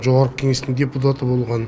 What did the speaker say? жоғарғы кеңестің депутаты болған